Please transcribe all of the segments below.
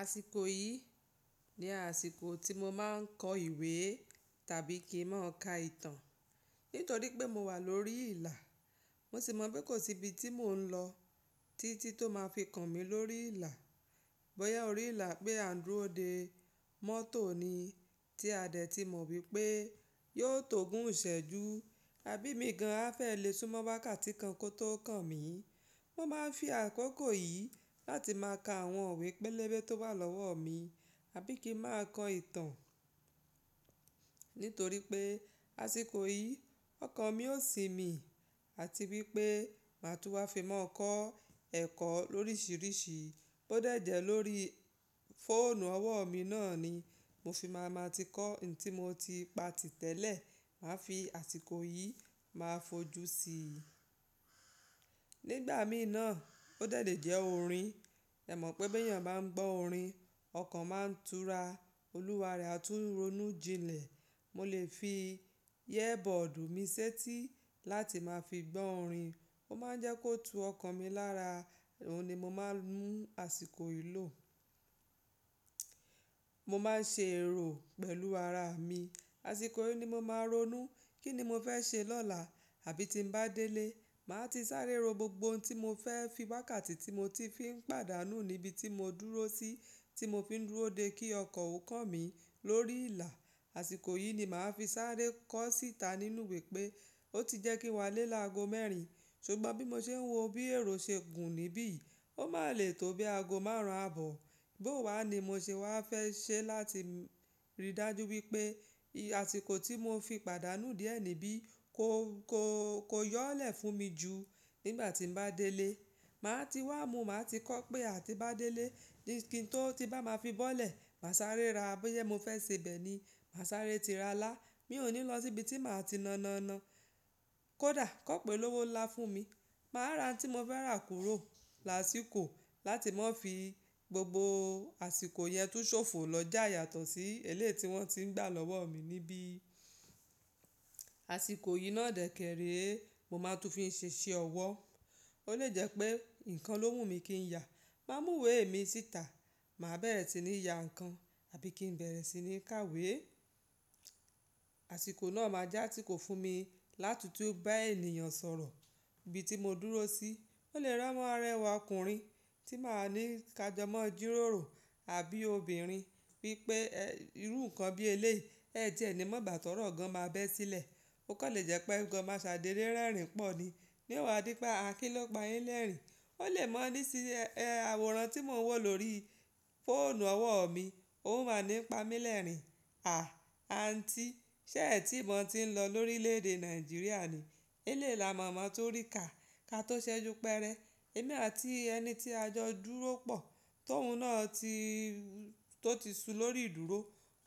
Àsìkò yìí ni àsìkò tí mo máa ń kọ ìwé tàbí kí ń máa ka ìtàn. Nítorí pé mo wà lórí ìlà, mo sì mọ̀ pé kò sí ibi tí mò ń lọ tí tí tó máa fi kan mi lórí ìlà. Bóyá orí ìlà pé àǹdúró de mọ́tò ni tí a dẹ̀ ti mọ̀ wípé yóò tó gún ìṣẹ́jú, àbí mi gan an fẹ́ lè súnmọ́ wákàtí kan kó tó kan mi. Mo máa ń fi àkókò yìí láti máa ka àwọn òwe pẹ́lẹ́bẹ́ tó wà lọ́wọ́ mi, àbí kí ń máa kọ ìtàn. Nítorí pé àsìkò yìí ọkàn mi ó sì mí àti wípé màá tú wá fi máa kọ ẹ̀kọ́ lóríṣiríṣi. Ó dàjẹ́ lórí fóònù ọwọ́ mi náà ni mo fi máa ma ti kọ ǹ tí mo ti pa tìtẹ́lẹ̀, màá fi àsìkò yìí máa fojú sí i. Nígbà mí náà ó dàdẹ́ jẹ́ orin. Ẹ mọ̀ pé bí ènìyàn bá ń gbọ́ orin, ọkàn máa ń tura, olúwa rẹ̀ á tún ronú jinlẹ̀. Mo lè fi yẹ́bọ́ọ̀dù mi sétí láti máa fi gbọ́ orin, ó máa ń jẹ́ kó tú ọkàn mi lára, òun ni mo máa ń mú àsìkò yìí lò. Mo máa ń ṣe èrò pẹ̀lú ara mi. Àsìkò yìí ni mo máa ń ronú kíni mo fẹ́ ṣe lọ́la, àbí tí ń bá délé, màá ti sáré ro gbogbo ohun tí mo fẹ́ fi wákàtí tí mo ti fi ń pàdánù níbi tí mo dúró sí, tí mo fi ń dúró de kí ọkọ̀ ó kan mi lórí ìlà. Àsìkò yìí ni màá fi sáré kọ síta nínú ìwé pé ó ti jẹ́ kí n wà lé lágo mẹ́rin, ṣùgbọ́n bí mo ṣe ń wo bí èrò ṣe gùn níbí yìí, ó má lè tó bí aago márùn-ún àbọ̀. Bó wá ni mo ṣe wá fẹ́ ṣe láti rí dájú wípé àsìkò tí mo fi pàdánù díẹ̀ níbí ko, ko, ko yọ́lẹ̀ fún mi jù nígbà tí ń bá délé. Màá ti wá mu, màá ti kọ̀ pé àti bá délé kí n tó ti bá máa fi bọ́lẹ̀, mà sáré ra. Bóyá mo fẹ́ ṣe bẹ́ẹ̀ ni, mà sáré ti ra alà. Mi ò ní lọ síbi tí màá ti nononọ. Kódà kọ̀pé lówó lá fún mi, màá ra tí mo fẹ́ rà kúrò lásìkò láti máa fi gbogbo àsìkò yẹn tó ṣòfò lọ já yàtọ̀ sí elé tí wọ́n ti ń gbà lọ́wọ́ mi níbí. Àsìkò yìí náà dẹ̀ kèrè mo máa tún fi ń ṣe iṣẹ́ ọwọ́. Ó lè jẹ́ pé nǹkan ló mú mi kí ń yà, mà mú ìwé mi síta, mà bẹ̀rẹ̀ sí ní ya ǹkan àbí kí ń bẹ̀rẹ̀ sí ní kàwé. Àsìkò náà máa jẹ́ àsìkò fún mi láti tú bá ènìyàn sọ̀rọ̀ níbi tí mo dúró sí. Ó lè rántí rẹwà ọkùnrin tí màá ní ká jọmọ́ jírórò, àbí obìnrin wípé irú ǹkan bí eléyìí ẹ jẹ́ ní mò bá tọrọ̀ gan an má bẹ́ sílẹ̀. Ó kàn lè jẹ́ pé ǹkan máa ṣàdérérẹ́ rìn pọ̀ ni. Níwọ̀n adípá, akílọ́pà, ńlẹ́rìnín. Ó lè mọ̀ ní sí àwòrán tí mo wọ̀ lórí fóònù ọwọ́ mi, òun máa ń pa mí lẹ́rìnín, à, àǹtí ṣé ètí mò ń ti ń lọ lórílẹ̀èdè Nàìjíríà ni? Eléèla mọ̀ọ́mọ̀ tó rí kà, ká tó ṣẹ́jú pẹrẹ. Ẹ̀mi àti ẹni tí ajọ dúró pọ̀, tóun náà tó ti su lórí ìdúró,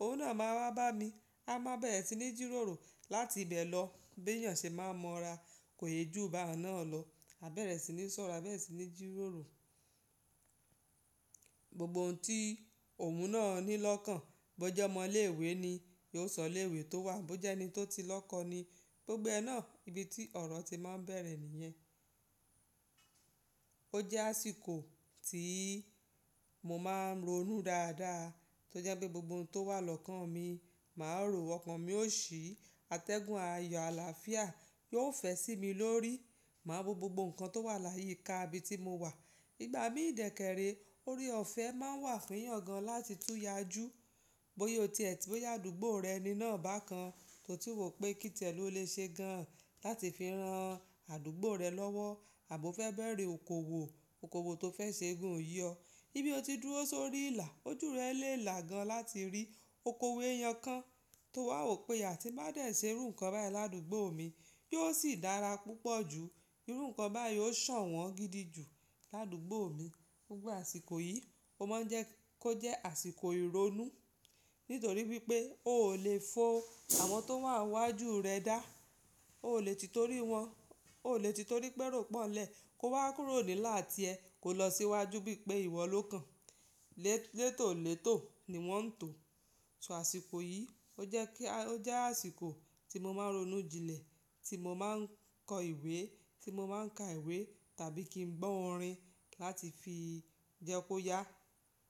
òun náà máa wá bá mi. A máa bẹ̀rẹ̀ sí ní jírórò láti bẹ̀ lọ bí ènìyàn ṣe máa ń mọra kò yé ju bá ọ̀nà náà lọ, á bẹ̀rẹ̀ sí ní sọ̀rọ̀, á bẹ̀rẹ̀ sí ní jírórò. Gbogbo ohun tí òun náà ní lọ́kàn, bó jẹ́ ọmọ ilé ìwé ni, yóò sọ ilé ìwé tó wà, bó jẹ́ ẹni tó ti lọ́kọ ni, gbogbo ẹ náà ibi tí ọ̀rọ̀ ti máa ń bẹ̀rẹ̀ nìyẹn. Ó jẹ́ àsìkò tí mo máa ń ronú dáadáa, tó jẹ́ pé gbogbo ohun tó wà lọ́kàn mi màá rò wọ́n, ọkàn mi ó ṣí, atẹ́gùn, àyò, àlàáfíà yóò fẹ́ sí mi lórí. Màá wo gbogbo ǹkan tó wà láyé ká ibi tí mo wà. Igbà mí ìdẹ̀ kèrè orí ọ̀fẹ́ máa ń wà fiyàn gan láti túya jù. Bóyá o ti, bóyá àdúgbò rẹ ni náà bá kan, tó ti wò pé kí tẹ̀lú ó lè ṣe gan láti fi rán àdúgbò rẹ lọ́wọ́, àbí ó fẹ́ bẹ̀rẹ̀ okòwò, okòwò tó fẹ́ ṣe gùn yọ. Ibi o ti dúró sórí ìlà, ojú rẹ lè là gan láti rí okòwò èèyàn kan tó wà, ó pé àti bá dẹ̀ ṣe irú ǹkan báyìí ládùúgbò mi, yóò sì dára púpọ̀ jù. Irú ǹkan báyìí ó sàn wọ́n gidi jù ládùúgbò mi. Gbogbo àsìkò yìí, ó má ń jẹ́ kó jẹ́ àsìkò ìrónú. Nítorí wípé o ò lè fo àwọn tó wà níwájú rẹ dá. O ò lè ti torí wọn, o ò lè ti torí pẹ́rúpọ̀lẹ̀ kó wá kúrò nílà àti ẹ kó lọ síwájú bí i pé ìwọ ló kan. Létòlétò ni wọ́n ń tò. So àsìkò yìí ó jẹ́ kí, ó jẹ́ àsìkò tí mo máa ń ronú jinlẹ̀, tí mo máa ń kọ ìwé, tí mo máa ń ka ìwé tàbí kí ń gbọ́ orin láti fi jẹ́ kó yá.